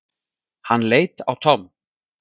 Hann leit á Tom.